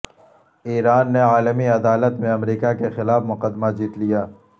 ایران نے عالمی عدالت میں امریکا کے خلاف مقدمہ جیت لیا